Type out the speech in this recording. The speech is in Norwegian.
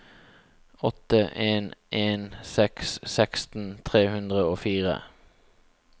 åtte en en seks seksten tre hundre og fire